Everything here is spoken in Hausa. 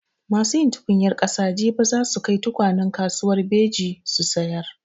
Masu yin tukunyar ƙasa jibi za su kai tukwanen kasuwar Beji su sayar.